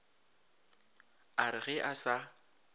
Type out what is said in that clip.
a re ge a sa